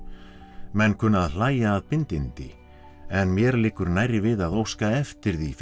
menn kunna að hlæja að bindindi en mér liggur nærri við að óska eftir því fyrir